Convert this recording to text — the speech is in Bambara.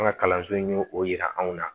An ka kalanso in y'o o yira anw na